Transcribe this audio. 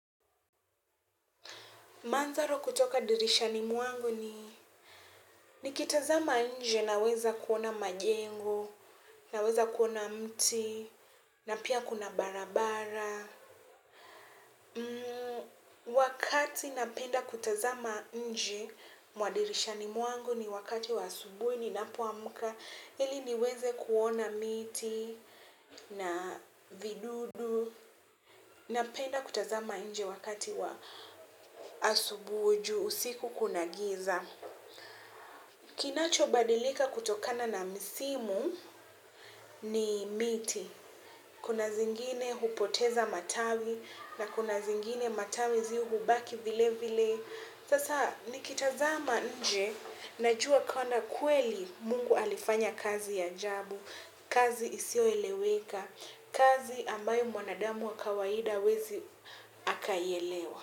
Mandharo kutoka dirishani mwangu ni, nikitazama nje naweza kuona majengo, naweza kuona mti, na pia kuna barabara. Wakati napenda kutazama nje, mwa dirishani mwangu ni wakati wa asubuhi, ninapoamka, ili niweze kuona miti, na vidudu, napenda kutazama nje wakati wa asubuhi ju, usiku kuna giza. Kinachobadilika kutokana na misimu ni miti kuna zingine hupoteza matawi na kuna zingine matawi zihubaki vile vile. Sasa nikitazama nje najua kana kweli Mungu alifanya kazi ya ajabu, kazi isiyoeleweka, kazi ambayo mwanadamu wa kawaida hawezi akaielewa.